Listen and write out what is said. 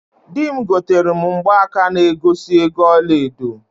Di m gotere m mgbaka na egosi ego ọla edo.